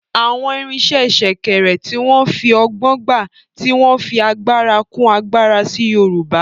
Àwọn irinṣẹ́ Sèkèrè, tí wọ́n fi ọgbọ́n gbá, tí wọ́n fi agbára kún agbára sí Yorùbá